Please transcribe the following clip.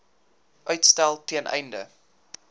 uitstel ten einde